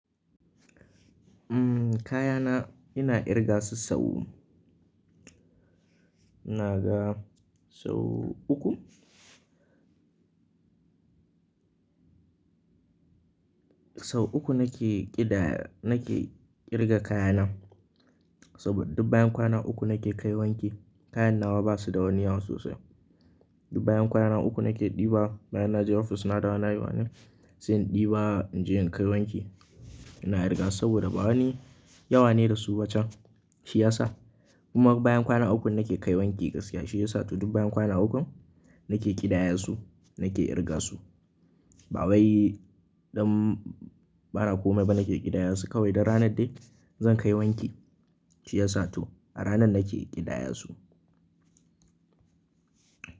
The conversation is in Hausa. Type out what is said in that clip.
Kaya na ina ƙirga su sau, ina ga sau uku. Sau uku nake ƙidaya, nake ƙirga kaya na. Saboda duk bayan kwana uku nake kai wanki. Kayan nawa basu da wani yawa sosai. Duk bayan kwana uku nake ɗiba bayan naje ofis na dawo nayi wani, sai in ɗiba in je in kai wanki. Ina irga su saboda ba wani yawa ne da su ba can. Shi ya sa kuma bayan kwana uku nake kai wanki gaskiya. Shi ya sa duk bayan kwana ukun nake ƙidaya su nake irga su. Ba wai dan bana komai ba nake ƙidaya su kawai dur ranar dai zan kai wanki shi ya sa to a ranar nake ƙidaya su.